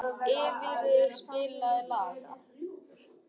Eyfríður, spilaðu lag.